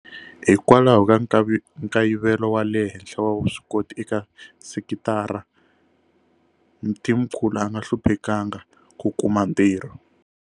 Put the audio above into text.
Hikwalaho ka nkayivelo wa le henhla wa vuswikoti eka sekitara, Mthimkhulu a nga hluphekanga ku kuma ntirho.